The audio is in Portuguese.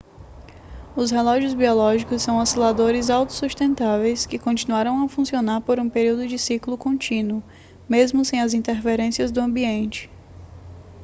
os relógios biológicos são osciladores autossustentáveis que continuarão a funcionar por um período de ciclo contínuo mesmo sem as interferências do ambiente